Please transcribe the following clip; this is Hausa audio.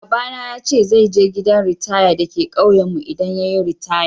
Baba na ya ce zai je gidan ritaya dake kauyen mu idan yayi ritaya.